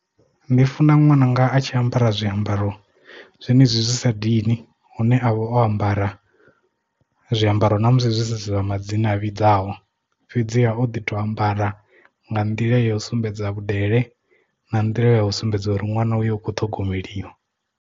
Ndi funa ṅwananga a tshi ambara zwiambaro zwenezwi zwi sa dini hune avha o ambara zwiambaro ṋamusi zwi si zwa madzina a vhidzaho fhedziha o ḓi to ambara nga nḓila ya u sumbedza vhudele na nḓila ya u sumbedza uri ṅwana uyo ukho ṱhogomeliwa.